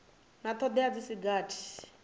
na thodea dzi si gathi